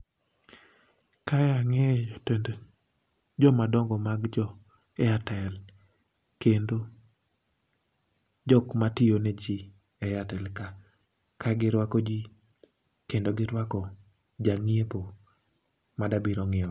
ka ang'e joma dongo mag jo airtel kendo jok matiyo ne jii e airtel ka kagirwako jii, kendo girwako janyiepo madwa biro nyiewo